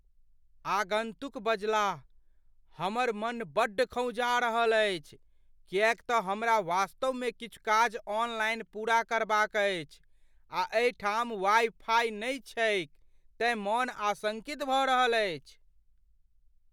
आगन्तुक बजलाह, "हमर मन बड्ड खौंझा रहल अछि किएकतँ हमरा वास्तवमे किछु काज ऑनलाइन पूरा करबाक अछि, आ एहिठाम वाइ फाइ नहि छैक तेँ मन आशंकित भऽ रहल अछि।"